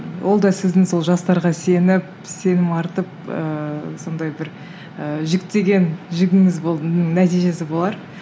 ол да сіздің сол жастарға сеніп сенім артып ыыы сондай бір ыыы жіктеген жігіңіз нәтижесі болар